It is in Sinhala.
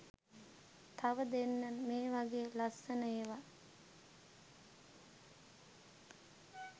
තව දෙන්න මේ වගෙ ලස්සන ඒවා